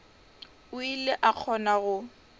o ile a kgona go